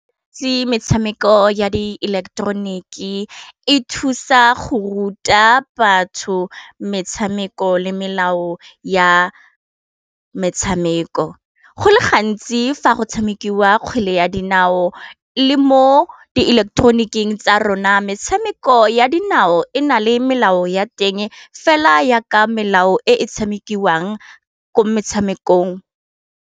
Metshameko ya di eleketeroniki e thusa go ruta batho metshameko le melao ya metshameko, go le gantsi fa go tshamikiwa kgwele ya dinao le mo di ileketeroniking tsa rona metshameko ya dinao e na le melao ya teng fela yaka melao e e tshamekiwang ko metshamekong.